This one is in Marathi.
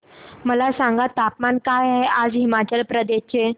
मला सांगा तापमान काय आहे आज हिमाचल प्रदेश चे